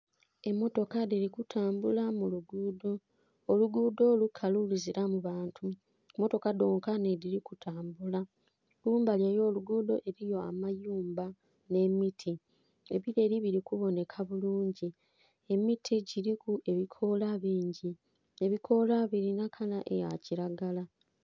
Emmotoka dhiri kutambula muluguudo, oluguudho lukalu luziramu bantu motoka dhonka nedhiri kutambula. Kumbali y' oluguudho eriyo amayumba n'emiti ebireri birikuboneka bulungi, emiti giriku ebikoola bingi, ebikoola birina kala eyakiragala.